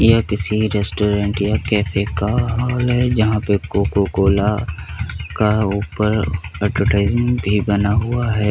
एक रेस्टोरेंट या कैफ़े का हाल है जहाँ पे कोको कोला का ऊपर एडवर्टिसमेंट भी बना हुआ है।